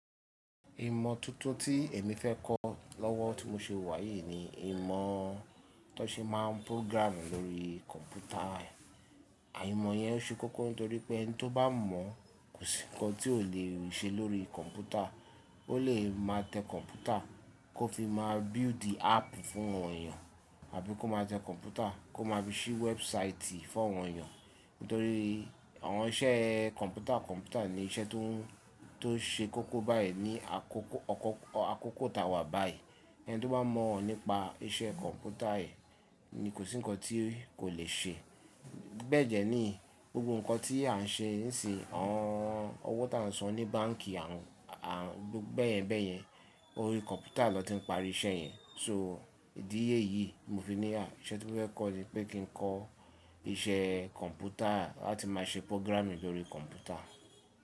Ìmọ̀ tuntun tí èmi fẹ́ kọ́ lọ́wọ́ tí mo ṣe wà yìí ni ìmọ̀ tó ṣe máa ń programming lórí kọ̀mpútà. Àìmọ̀ yẹn ṣe kókó nítorí pé ẹni tó bá mọ̀ kò sí nǹkan tí ò le ṣe lórí kọ̀mpútà. Ó lè máa tẹ kọ̀mpútà kó fi máa build app fún àwọn èèyàn àbí kó máa tẹ kọ̀mpútà kó máa fi ṣí website fún àwọn èèyàn. Nítorí àwọn iṣẹ́ kọ̀mpútà kọ̀mpútà ni iṣẹ́ tó ń ṣe kókó báyìí ní àkókò àkókò tá a wà báyìí. Ẹni tó bá mọ̀ ọ́n nípa isẹ kọ̀mpútà yìí ni kò sí nǹkan tí kò le ṣe. Bẹẹ dẹ ní gbogbo nǹkan tí à ń ṣe nísin yi, àwọn ọwọ tí à ń san ní báǹkì, à ń bẹ́yẹ́n bẹ́yẹ́n orí kọ̀mpútà lọ́ ti ń parí isẹ yẹn. So ìdíye yìí mo fi níyà isẹ́ tí mo fẹ́ kọ́ ni pé kí n kọ́ iṣẹ́ kọ̀mpútà láti máa ṣe programming lórí kọ̀mpútà.